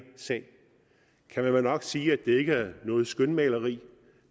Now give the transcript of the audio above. sag kan man vel nok sige at det ikke er noget skønmaleri